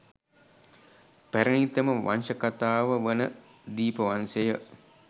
පැරැණිතම වංශකතාව වන දීපවංශය